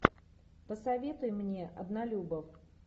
посоветуй мне однолюбов